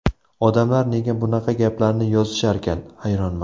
Odamlar nega bunaqa gaplarni yozisharkan, hayronman?